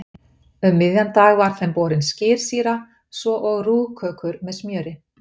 Um miðjan dag var þeim borin skyrsýra svo og rúg kökur með smjöri.